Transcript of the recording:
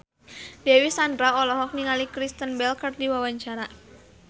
Dewi Sandra olohok ningali Kristen Bell keur diwawancara